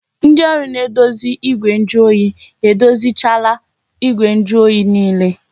Ndị ọrụ na-edozi igwe njuoyi edozichaala igwe njuoyi niile